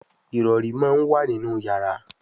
Ìrọ̀rí món wá nínú yàrá